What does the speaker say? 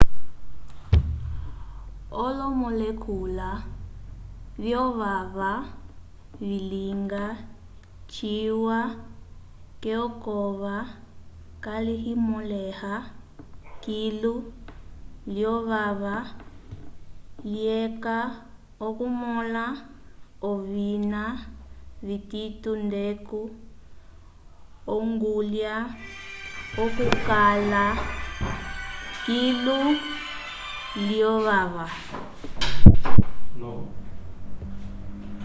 olomolekula vyovava vilinga ciwa k'ekova kayimõleha kilu lyovava lyeca okumõla ovina vitito ndeco ongulya okukala kilu lyovava